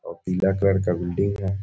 पीला कलर का बिल्डिंग है ।